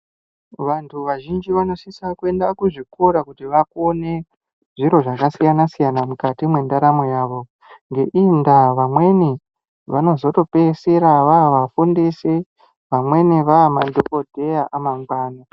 Vantu vazhinji vanosisa kuenda kuzvikora kuti vakone zviro zvakasiyana siyana mukati mwendaramo yavo. Ngeiyi ndaa vamweni vanozotopeisira vavafundisi, vamweni vaamadhokodheya amangwani.